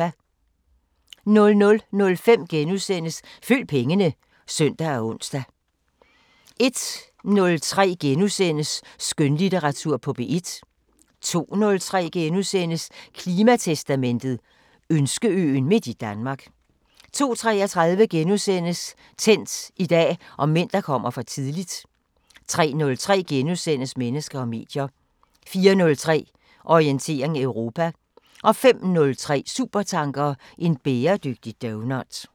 00:05: Følg pengene *(søn og ons) 01:03: Skønlitteratur på P1 * 02:03: Klimatestamentet: Ønskeøen midt i Danmark * 02:33: Tændt: I dag om mænd, der kommer for tidligt * 03:03: Mennesker og medier * 04:03: Orientering Europa 05:03: Supertanker: En bæredygtig doughnut